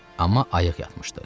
Amma ayıq yatmışdı.